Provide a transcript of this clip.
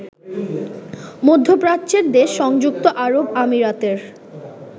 মধ্যপ্রাচ্যের দেশ সংযুক্ত আরব আমিরাতের